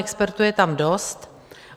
Expertů je tam dost.